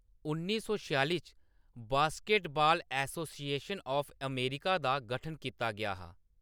उन्नी सौ छेआली च, बास्केटबाल एसोसिएशन ऑफ अमेरिका दा गठन कीता गेआ हा।